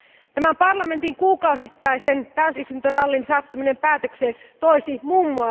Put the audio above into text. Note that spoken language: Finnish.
Tämän parlamentin kuukausittaisen täysistuntorallin saattaminen päätökseen toisi mm.